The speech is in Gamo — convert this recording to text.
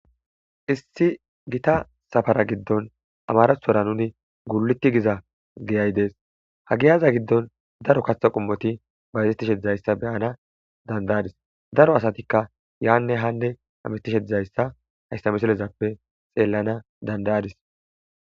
Issi gita safara gidon amaratora nuni guliti giza giyay dees ha giyaza gidon daro katha qomoti bayzetishe dizaysa be'anas danda'ides daro asatika yane hane hametishe dizaysa haysa missilezan be'anas danda'ades.